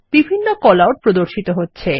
বিভিন কলআউট প্রদর্শিত হচ্ছে